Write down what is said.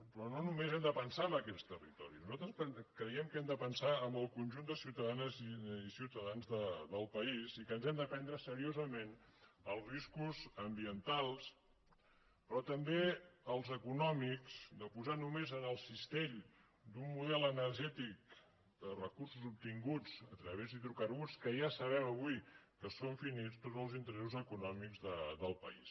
però no només hem de pensar en aquests territoris nosaltres creiem que hem de pensar en el conjunt de ciutadanes i ciutadans del país i que ens hem de prendre seriosament els riscos ambientals però també els econòmics de posar només en el cistell d’un model energètic de recursos obtinguts a través d’hidrocarburs que ja sabem avui que són finits tots els interessos econòmics del país